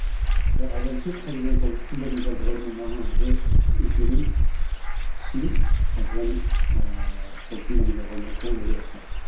бірақ айналып келіп қайтадан сол фундаменталды ғылымның маңызды екенін түсініп қайтадан ыыы сол фундаменталды ғылымға көңіл бөле бастаған